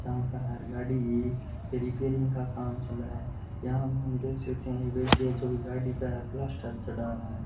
जहां बहार गाड़ी रिपेरिंग का काम चल रहा है यहां में हम देख सकते है एक व्यक्ति है जो गाड़ी पे प्लास्टर चढ़ा रहा है।